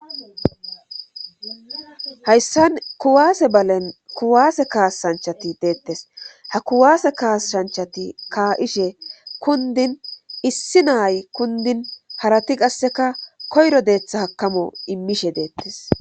Hayssan kuwaase balen kuwaase kaasshanchati deettes ha kuwaase kaasshanchati ka'ishe kundin issi naay kundin harati qasseka koyro deetha hakamo immishe deettes.